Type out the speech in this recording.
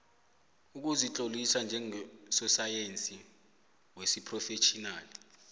ukuzitlolisa njengososayensi wesiphrofetjhinali